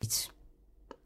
DR2